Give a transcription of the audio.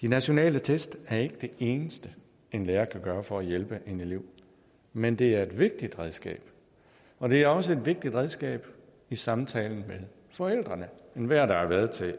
de nationale test er ikke det eneste en lærer kan bruge for at hjælpe en elev men det er et vigtigt redskab og det er også et vigtigt redskab i samtalen med forældrene enhver der har været til